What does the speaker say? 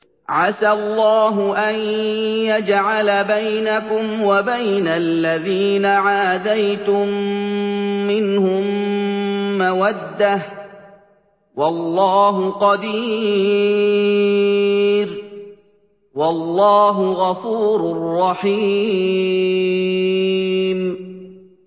۞ عَسَى اللَّهُ أَن يَجْعَلَ بَيْنَكُمْ وَبَيْنَ الَّذِينَ عَادَيْتُم مِّنْهُم مَّوَدَّةً ۚ وَاللَّهُ قَدِيرٌ ۚ وَاللَّهُ غَفُورٌ رَّحِيمٌ